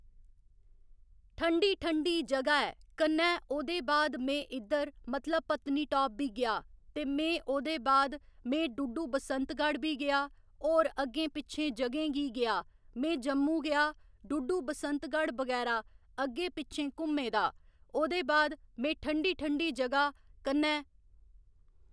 ठंडी ठंडी जगह ऐ कन्नै ओह्दे बाद में इद्धर मतलब पत्नीटाप बी गेआ ते में ओह्‌दे बाद में डुड्डू बसंतगढ़ बी गेआ होर अग्गें पिच्छें जगहें गी गेआ में जम्मू गेआ डुड्डू बसंतगढ़ बगैरा अग्गें पिच्छें घुम्में दा ओह्‌दे बाद में ठंडी ठंडी जगह कन्नै